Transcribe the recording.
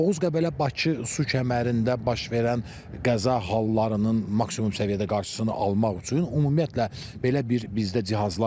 Oğuz-Qəbələ-Bakı su kəmərində baş verən qəza hallarının maksimum səviyyədə qarşısını almaq üçün ümumiyyətlə belə bir bizdə cihazlar var.